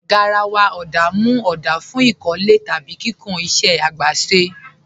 Garàwà ọ̀dá mú ọ̀dá fún ikọ̀lẹ̀ tàbí kíkùn ìṣẹ̀ agbèsè.